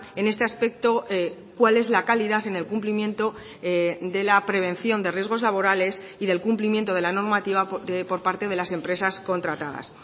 en este aspecto cuál es la calidad en el cumplimiento de la prevención de riesgos laborales y del cumplimiento de la normativa por parte de las empresas contratadas